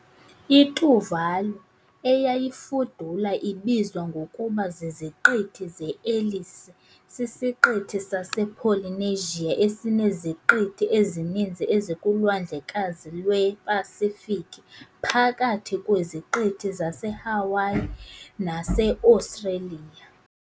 ITuvalu, eyayifudula ibizwa ngokuba ziZiqithi zeEllice, sisiqithi sasePolynesia esineziqithi ezininzi ezikuLwandlekazi lwePasifiki phakathi kweziqithi zaseHawaii naseOstreliya .